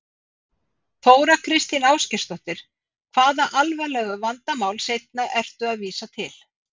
Þóra Kristín Ásgeirsdóttir: Hvaða alvarlegu vandamál seinna ertu að vísa til?